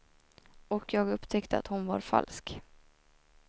Och jag upptäckte att hon var falsk.